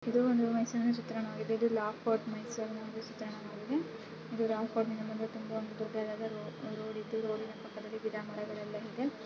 ಇದು ಒಂದು ಮೈಸೂರಿನ ಚಿತ್ರಣವಾಗಿದೆ ಇದು ಲಾಲ್ ಪಾರ್ಟ್ ಚಿತ್ರಣವಾಗಿದೆ ಇಲ್ಲಿ ಲಾಲ್ ಪಾರ್ಟ್ ಮುಂದೆ ತುಂಬಾ ದೊಡ್ಡದಾದ ರೋಡ್ ಇದೆ ರೋಡಿನ ಅಕ್ಕಪಕ್ಕ ಗಿಡ ಮರಗಳೆಲ್ಲ ಇದೆ.